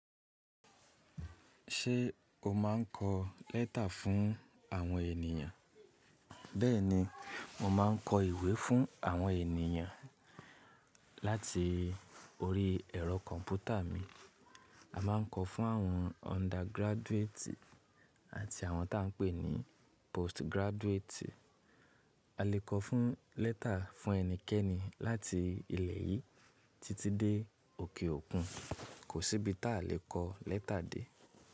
Ṣé o máa ń kọ lẹ́tà fún àwọn ènìyàn? Bẹ́ẹ̀ni, mo máa ń kọ ìwé fún àwọn ènìyàn láti orí ẹ̀rọ kọ̀m̀pútà mi. A máa ń kọ fún àwọn undergraduate àti àwọn tà ń pè ní postgraduate. A lè kọ fún lẹ́tà fún ẹnikẹ́ni láti ilẹ̀ yìí títí dé òkè òkun. Kò sí ibi ta lè kọ lẹ́tà dé.